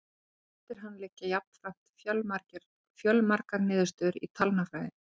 Eftir hann liggja jafnframt fjölmargar niðurstöður í talnafræði.